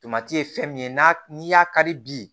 Tomati ye fɛn min ye n'a n'i y'a kari bi